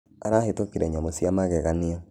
Arahĩtũkĩre nyamũ cĩa mageganĩa.